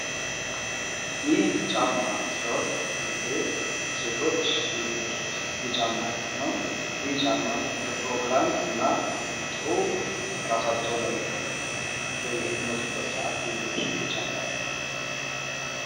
ይህ ጫማ ሲሆን ብዙ ጊዜ ሴቶች የሚለብሱት የጫማ አይነት ነው። ይህ ጫማ ለፕሮግራም እና ጥሩ እራሳቸውን ለመጠበቅ በሚወጡበት ሰአት የሚለብሱት የጫማ አይነት ነው።